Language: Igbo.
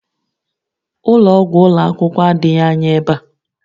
Ụlọ ọgwụ ụlọ akwụkwọ adịghị anya ebe a